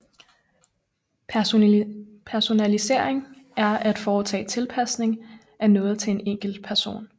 Personalisering er at foretage tilpasning af noget til en enkelt person